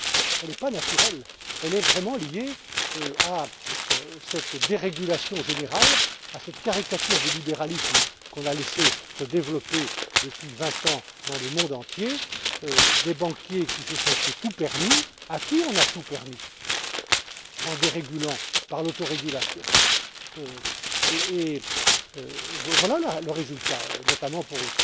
Elle n'est pas naturelle elle est vraiment liée à cette dérégulation générale, à cette caricature du libéralisme que nous avons laissé se développer depuis 20 ans, dans le monde entier, à des banquiers qui se sont cru tout permis et à qui nous avons tout permis, en dérégulant, par l'autorégulation. En voilà le résultat, notamment,